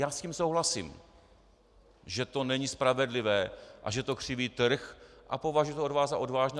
Já s tím souhlasím, že to není spravedlivé a že to křiví trh, a považuji to od vás za odvážné.